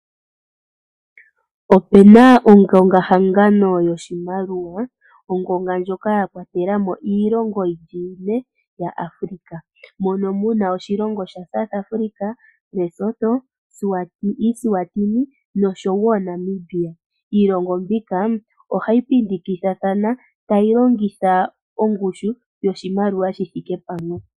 Opena ongonga-hangano yoshimaliwa. Ongonga ndjoka yakwatela mo iilongo yili ine ya Africa. Mono muna oshilonga sha South Africa, Lesotho, Eswatini nosho wo Namibia. Iilongo mbika oha yi pindikithathana ta yi longitha ongushu yoshimaliwa shithike pamwe.